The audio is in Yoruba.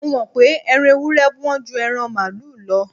Mo mọ̀ pé Ẹran ewúré Wọ́n ju ẹran màlúù lọ